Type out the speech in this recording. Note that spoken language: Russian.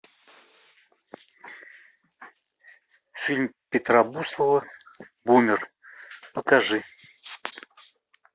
фильм петра буслова бумер покажи